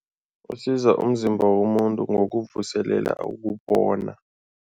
Usiza umzimba womuntu ngokuvuselela